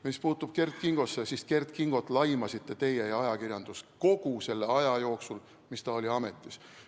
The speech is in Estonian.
Mis puutub Kert Kingosse, siis Kert Kingot laimasite teie ja ajakirjandus kogu selle aja jooksul, kui ta oli ametis.